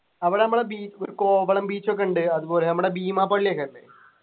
അവിടെ നമ്മളെ beach ഒരു കോവളം beach ഒക്കിണ്ട് അതുപോലെ നമ്മുടെ ബീമാ പള്ളിയൊക്കെ അല്ലെ